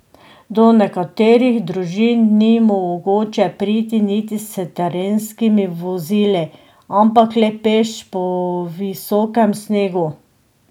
Do nekaterih družin ni mogoče priti niti s terenskimi vozili, ampak le peš po visokem snegu.